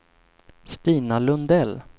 Stina Lundell